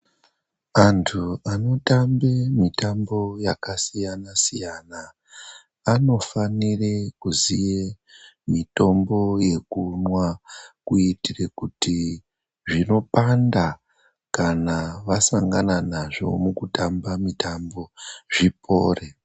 Antu anotambe mitambo yakasiyana siyana, anofanire kuziye mitombo yekunwa, kuitire kuti zvinopanda kana vasangana nazvo mukutamba mitambo zvipore.